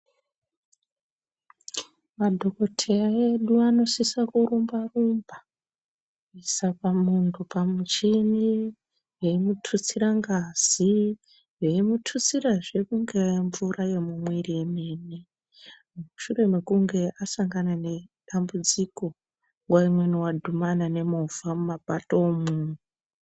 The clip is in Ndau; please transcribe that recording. Madhokodheya edu anosisa kurumba rumba kuisa pamuntu pamuchini eimutitsira ngazi, eimutitsirazve ingaa mvura yemumwiri yemene mushure mekunge asangana nedambudziko nguwa imweni wadhimana nemovha mumapto umwo.